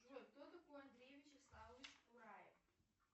джой кто такой андрей вячеславович кураев